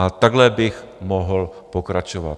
A takhle bych mohl pokračovat.